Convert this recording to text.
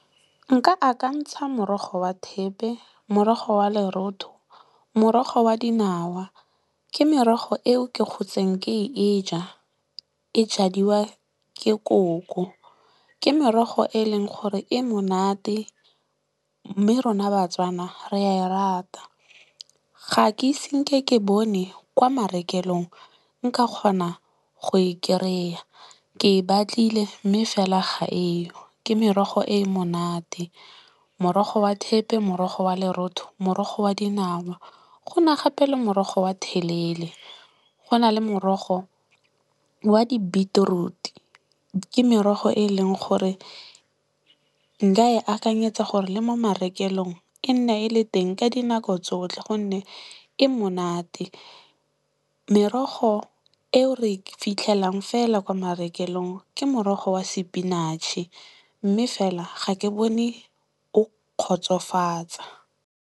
Nka akantsha morogo wa thepe, morogo wa lerotho, morogo wa dinawa. Ke merogo eo ke gotseng ke e ja. E jadiwa ke koko. Ke merogo e e leng gore e monate mme rona Batswana re a e rata. Ga ke ise nke ke bone kwa marekelong nka kgona go e kry-a. Ke e batlile mme fela ga eyo. Ke merogo e e monate. Morogo wa thepe, morogo wa lerotho, morogo wa dinawa. Go na gape le morogo wa thalele. Go na le morogo wa di-beetroot-e. Ke merogo e e leng gore nka e akanyetsa gore le mo marekelong e nne e le teng ka dinako tsotlhe gonne e monate. Merogo eo re e fitlhelang fela kwa marekelong ke morogo wa spinach-e mme fela ga ke bone o kgotsofatsa.